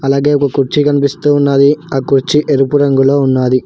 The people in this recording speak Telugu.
అలాగే ఒక కుర్చీ కనిపిస్తూ ఉన్నది ఆ కుర్చీ ఎరుపు రంగులో ఉన్నాది.